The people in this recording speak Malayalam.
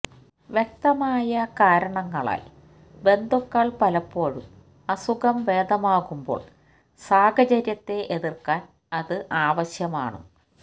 വ്യക്തമായ കാരണങ്ങളാൽ ബന്ധുക്കൾ പലപ്പോഴും അസുഖം ഭേദമാകുമ്പോൾ സാഹചര്യത്തെ എതിർക്കാൻ അത് ആവശ്യമാണ്